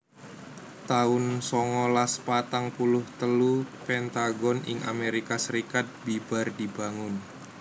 taun songolas patang puluh telu Pentagon ing Amerika Serikat bibar dibangun